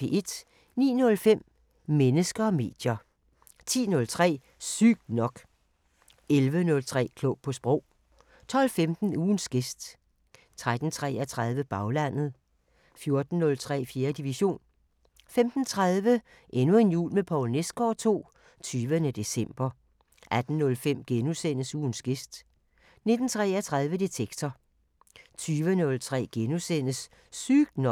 09:05: Mennesker og medier 10:03: Sygt nok 11:03: Klog på Sprog 12:15: Ugens gæst 13:33: Baglandet 14:03: 4. division 15:30: Endnu en jul med Poul Nesgaard II – 20. december 18:05: Ugens gæst * 19:33: Detektor 20:03: Sygt nok *